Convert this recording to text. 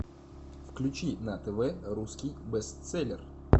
включи на тв русский бестселлер